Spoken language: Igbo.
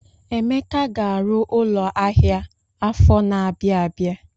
Emeka ga-arụ ụlọ ahịa afọ na-abịa abịa.